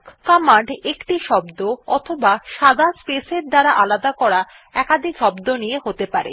command একটি শব্দ অথবা সাদা স্পেসের দ্বারা আলাদা করা একাধিক শব্দ নিয়ে হতে পারে